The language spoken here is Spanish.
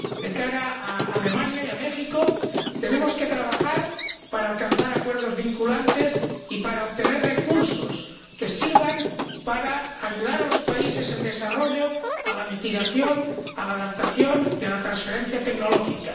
De cara a Alemania y a México, tenemos que trabajar para alcanzar acuerdos vinculantes y para obtener recursos que sirvan para ayudar a los países en desarrollo a la mitigación, a la adaptación y a la transferencia tecnológica.